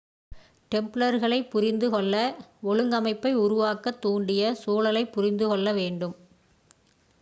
டெம்ப்லர்களைப் புரிந்து கொள்ள ஒழுங்கமைப்பை உருவாக்கத் தூண்டிய சூழலைப் புரிந்து கொள்ள வேண்டும்